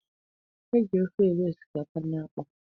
E ji ofe eri osikapa na akpụ.